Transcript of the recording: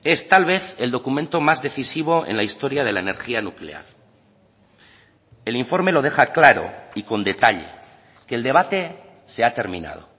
es tal vez el documento más decisivo en la historia de la energía nuclear el informe lo deja claro y con detalle que el debate se ha terminado